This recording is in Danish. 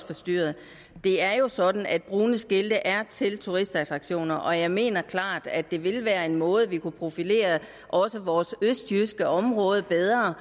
forstyrret det er jo sådan at brune skilte er til turistattraktioner og jeg mener klart at det ville være en måde vi kunne profilere også vores østjyske område bedre